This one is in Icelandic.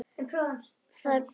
Það er bara.